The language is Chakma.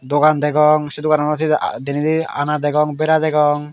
dogan degong se doganot he denedi ana degong bera degong.